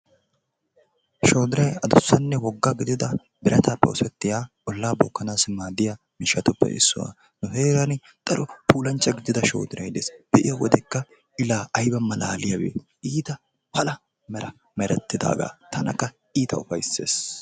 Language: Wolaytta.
Shoodiray addussanne wogga gidida birattaappe oosettiya ollaa bookkanassi maaddiya miishshatuppe issuwa. Nu heeraan daro puullanchcha gidida shoodiray deesi. Be'iyo wodekka i laa ayba malaliyabee iitta pala mera merettidaagaa tanakka iitta ufayses.